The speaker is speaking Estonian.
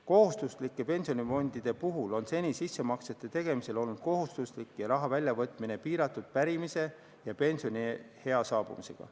Kohustuslike pensionifondide puhul on seni sissemaksete tegemine olnud kohustuslik ja raha väljavõtmine piiratud pärimise ja pensioniea saabumisega.